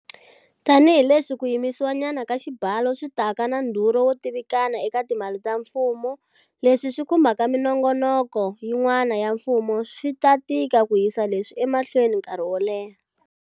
Tanihileswi ku yimisiwanyana ka xibalo swi taka na ndhurho wo tivikana eka timali ta mfumo, leswi swi khumbaka minongoloko yin'wana ya mfumo, swi ta tika ku yisa leswi emahlweni nkarhi wo leha.